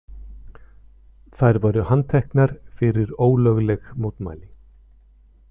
Þær voru handteknar fyrir ólögleg mótmæli